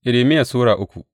Irmiya Sura uku